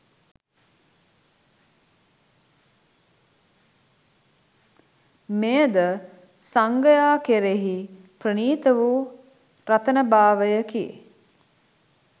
මෙය ද සංඝයා කෙරෙහි ප්‍රණීත වූ රත්නභාවයකි.